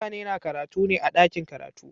Mutane na karatu ne a dakin karatu.